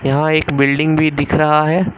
यहां एक बिल्डिंग भी दिख रहा है।